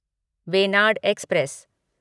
Venad express